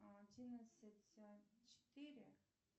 одиннадцать четыре